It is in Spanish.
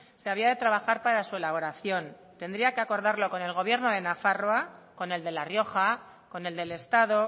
se había de trabajar para su elaboración tendría que acordarlo con el gobierno de nafarroa con el de la rioja con el del estado